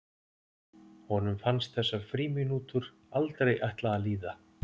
Honum fannst þessar frímínútur aldrei ætla að líða.